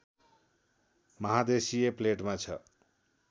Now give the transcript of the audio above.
महादेशीय प्लेटमा छ